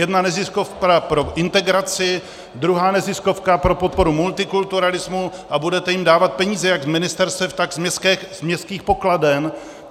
Jedna neziskovka pro integraci, druhá neziskovka pro podporu multikulturalismu, a budete jim dávat peníze jak z ministerstev, tak z městských pokladen.